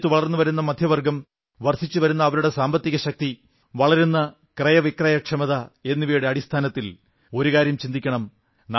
ഇന്ന് രാജ്യത്ത് വളർന്നുവരുന്ന മധ്യവർഗ്ഗം വർധിച്ചുവരുന്ന അവരുടെ സാമ്പത്തിക ശക്തി വളരുന്ന ക്രയവിക്രയക്ഷമത എന്നിവയുടെ അടിസ്ഥാനത്തിൽ ഒരു കാര്യം ചിന്തിക്കണം